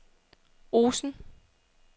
Osen